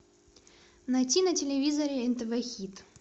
найти на телевизоре нтв хит